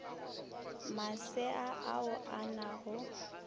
masea ao a na go